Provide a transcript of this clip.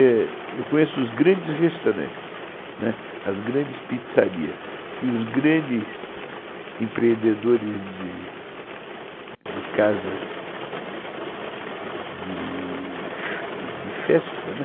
Eu conheço os grandes restaurantes, né, as grandes pizzarias e os grandes empreendedores de de casas de... de festa, né.